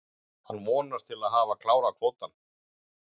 Hann vonast til að hafa klárað kvótann.